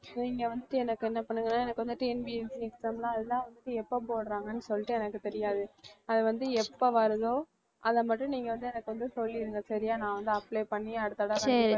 so இங்க வந்துட்டு எனக்கு என்ன பண்ணுங்க எனக்கு வந்து TNPSC exam லாம் அதெல்லாம் வந்துட்டு எப்ப போடுறாங்கன்னு சொல்லிட்டு எனக்கு தெரியாது. அது வந்து எப்ப வருதோ அத மட்டும் நீங்க வந்து எனக்கு வந்து சொல்லிடுங்க சரியா நான் வந்து apply பண்ணி அடுத்த தடவ வந்து